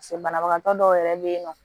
pase banabagatɔ dɔw yɛrɛ be yen nɔ